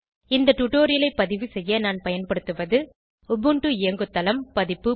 இந்த டுடோரியலை பதிவு செய்ய நான் பயன்படுத்துவது உபுண்டு இயங்குதளம் பதிப்பு